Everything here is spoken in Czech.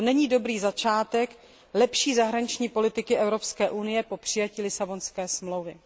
To není dobrý začátek lepší zahraniční politiky Evropské unie po přijetí Lisabonské smlouvy.